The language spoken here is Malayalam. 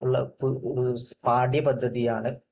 ഉള്ള ഒരു പാഠ്യപദ്ധതിയാണ്